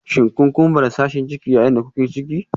Shin kun kumbura sashin jiki yayin da kuke ciki?